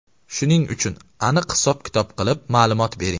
Shuning uchun aniq-hisob kitob qilib, ma’lumot bering.